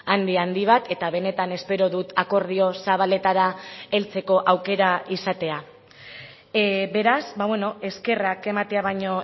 handi handi bat eta benetan espero dut akordio zabaletara heltzeko aukera izatea beraz eskerrak ematea baino